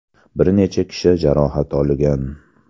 Bir necha kishi jarohat olgan.